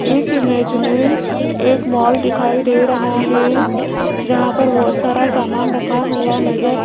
इस इमेज में एक मॉल दिखाई दे रहा है जहां पर बहुत सारा सामान रखा हुआ नजर --